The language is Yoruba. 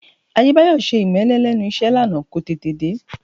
Adébáyọ̀ ṣe ìmẹ́lẹ́ lẹ́nu iṣẹ́ lánàá, kò tètè dé